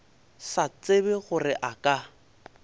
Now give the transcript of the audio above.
sa tsebe gore a ka